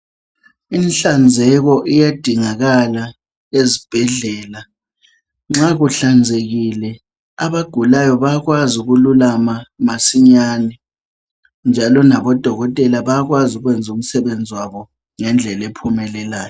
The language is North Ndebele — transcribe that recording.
Inhlanzeko iyadingakala ezibhedlela. Nxa kuhlanzekile ,abagulayo bayakwazi ukululama masinyane njalo nabodokotela bayakwazi ukwenza umsebenzi wabo ngendlela ephumelelayo.